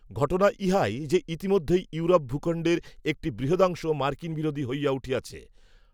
ঘটনা ইহাই, যে ইতিমধ্যেই ইউরোপ ভূখণ্ডের একটি, বৃহদংশ, মার্কিনবিরোধী হইয়া উঠিয়াছে